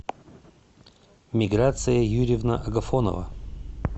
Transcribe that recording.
миграция юрьевна агафонова